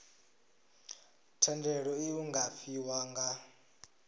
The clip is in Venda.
thendelo iu nga fhiwa nga